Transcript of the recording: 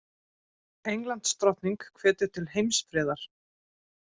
Englandsdrottning hvetur til heimsfriðar